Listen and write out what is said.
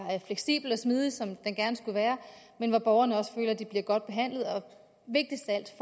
fleksibel og smidig sådan som den gerne skulle være men hvor borgerne også føler at de bliver godt behandlet og vigtigst af alt